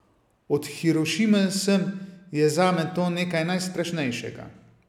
Od Hirošime sem je zame to nekaj najstrašnejšega.